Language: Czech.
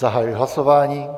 Zahajuji hlasování.